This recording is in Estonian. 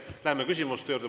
Lähme küsimuste juurde.